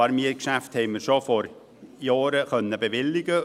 Ein paar Mietgeschäfte konnten wir schon vor Jahren bewilligen.